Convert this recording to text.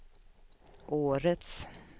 årets